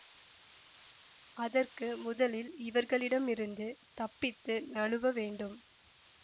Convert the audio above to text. அதற்கு முதலில் இவர்களிடமிருந்து தப்பித்து நழுவ வேண்டும்